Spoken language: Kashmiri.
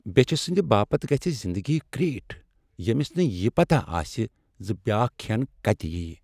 بیچھِ سندِ باپت گژھِ زِندگی کریٹھ ییمِس نہٕ یہِ پتاہ آسہِ زِ بیاکھ كھین كتہِ یی ۔